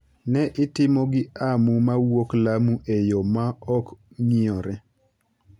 ne itimo gi Amu mawuok Lamu e yo ma ok ng’iyore.